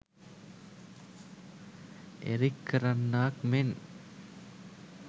Eric කරන්නාක් මෙන්